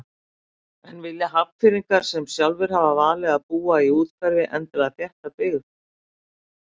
En vilji Hafnfirðingar sem sjálfir hafa valið að búa í úthverfi endilega þétta byggð?